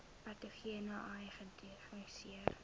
patogene ai gediagnoseer